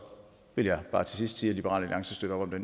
vil jeg bare til sidst sige at liberal alliance støtter det